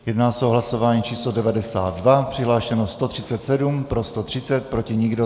Jedná se o hlasování číslo 92, přihlášeno 137, pro 130, proti nikdo.